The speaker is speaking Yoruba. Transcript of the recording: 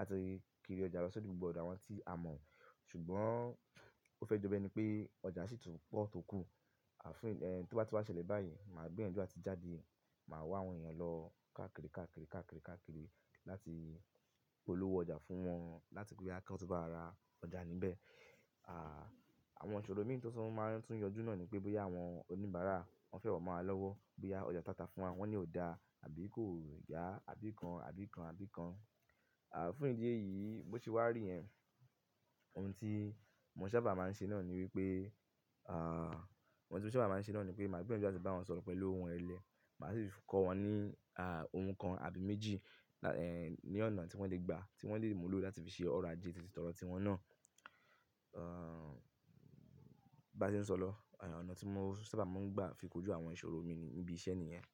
a ti kiri ọjà lọ sódò gbogbo ọ̀dọ̀ àwọn tí a mọ̀. Ṣùgbọ́n ó fẹ́ jọ bẹ́ẹ̀ ni pé ọjà sì tún pọ̀ tókù. Tí ó bá ti wá ṣẹlẹ̀ báyìí, màá gbìyànjú atí ó ti jáde, màá wá àwọn ènìyàn lọ káàkiri, káàkiri, káàkiri, káàkiri láti polówó ọjà fún wọn, láti pé bóyá kí wótu bá wa ra ọjà níbẹ̀. Àwọn ìṣòro mi tó tún máa tuń yọjú náà ni pé bóyá àwọn oníbàárà wọ́n fẹ́ wọ mọ́ wa lọ́wọ́, bóyá ọjà tata fún wa wọ́n ní ò dá àbí kò yá, àbí kan, àbí kan, àbí kan. Fún ìdí èyí, bó ti wá rí yẹ̀, ohun tí mo ṣa bá máa ń ṣe náà ni wípé, ohun tí mo ṣa bá máa ń ṣe náà ni wípé màá gbìyànjú atí ó ti bá wọ́n sọ̀rọ̀ pẹ̀lú owun irẹlẹ̀. Màá sì kọ́ wọn ní, ohun kan àbí méjì, ní ọ̀nà tí wọ́n lè gba, tí wọ́n lè mú lò láti fi ṣe ọ̀rọ̀ ajé titi tọrọ tí wọn náà. Bá ti ń sọ̀rọ̀ lọ, ọ̀nà tí mo ṣa bá máa ń gbà fi kojú àwọn ìṣòro mi ní ibi iṣẹ́ nìyẹn.